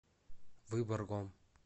выборгом